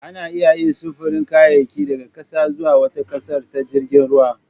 Ana iya yin sufurin kayayyaki daga ƙasa zuwa wata ƙasar ta jirgin ruwa